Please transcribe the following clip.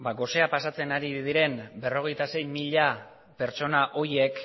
ba gosea pasatzen ari diren berrogeita sei mila pertsona horiek